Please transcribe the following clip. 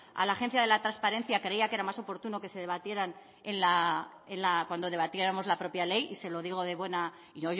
a la agencia de transparencia creía que era más oportuno que debatiéramos la propia ley y se lo digo de buenas